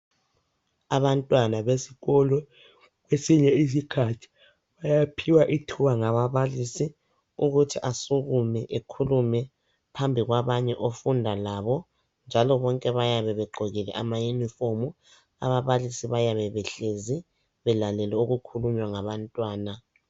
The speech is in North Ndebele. Abantwana besikolo kwesinye isikhathi. Bayaphiwa ithuba ngababalisi ukuthi asukume ekhulume phambi kwabanye ofunda labo .Njalo bonke bayabe begqokile ama uniform . Ababalisi bayabe behlezi belalele okukhulunywa ngabantwana .